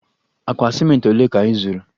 Akpa ciment ole ka ị zụrụ?